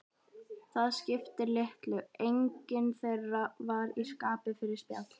Það skipti litlu, enginn þeirra var í skapi fyrir spjall.